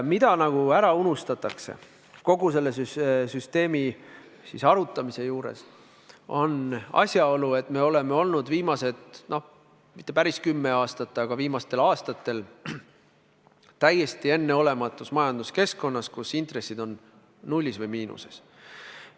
Mis nagu ära unustatakse kogu selle süsteemi arutamise juures, on asjaolu, et me oleme viimased mitte päris kümme aastat, aga viimastel aastatel olnud täiesti enneolematus majanduskeskkonnas, kus intressid on nullis või miinuses.